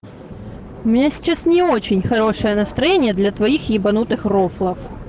у меня сейчас не очень хорошее настроение для твоих ебанутых рофлов